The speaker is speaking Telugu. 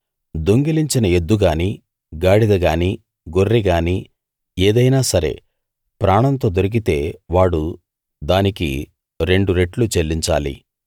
దొంగిలించిన ఎద్దు గానీ గాడిద గానీ గొర్రె గానీ ఏదైనా సరే ప్రాణంతో దొరికితే వాడు దానికి రెండు రెట్లు చెల్లించాలి